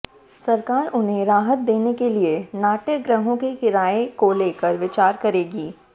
सरकार उन्हें राहत देने के लिए नाट्यगृहों के किराए को लेकर विचार करेगी